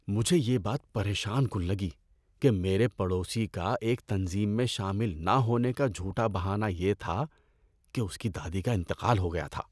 مجھے یہ بات پریشان کن لگی کہ میرے پڑوسی کا ایک تنظیم میں شامل نہ ہونے کا جھوٹا بہانہ یہ تھا کہ اس کی دادی کا انتقال ہو گیا تھا۔